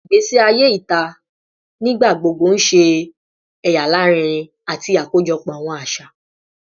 Igbesi aye ita nigbagbogbo n ṣe ẹya larinrin ati akojọpọ awọn aṣa